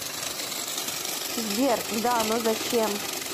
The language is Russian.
сбер да но зачем